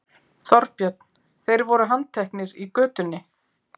Þorbjörn: Þeir voru handteknir í götunni?